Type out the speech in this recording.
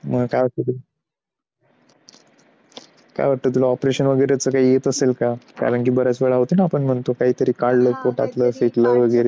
मग काय वाटतं? तुला काय वाटतं तुला operation वगैरे तर काही येत असेल का? कारण की बऱ्याच वेळा होते ना की आपण म्हणतो का पोटातलं काहीतरी फेकलं वगैरे?